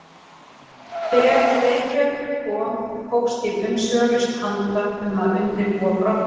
Þegar til Reykjavíkur kom hófst ég umsvifalaust handa um að undirbúa brottförina.